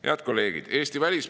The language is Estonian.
Head kolleegid!